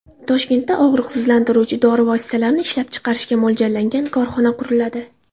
Toshkentda og‘riqsizlantiruvchi dori vositalarini ishlab chiqarishga mo‘ljallangan korxona quriladi.